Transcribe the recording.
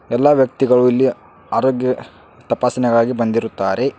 ಎಲ್ಲಾ ವ್ಯಕ್ತಿಗಳು ಇಲ್ಲಿ ಆರೋಗ್ಯ ತಪಾಸಣೆಗಾಗಿ ಬಂದಿರುತ್ತಾರೆ.